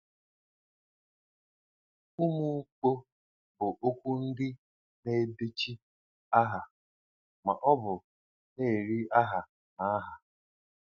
Umụmkpọ bụ okwu ndị na-edochi aha ma ọ bụ na-eri aha na aha.